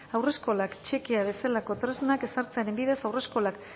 haurreskolak txekea bezalako tresnak ezartzearen bidez haurreskolak